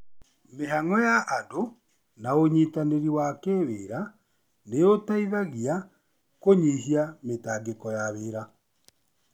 Mĩhango ya andũ na ũnyitanĩri wa kĩwĩra nĩ ũteithagiankũnyihia mĩtangĩko ya wĩra.